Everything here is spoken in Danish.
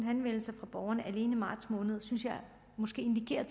henvendelser fra borgerne alene i marts måned synes jeg måske indikerer